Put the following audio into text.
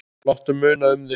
Láttu muna um þig.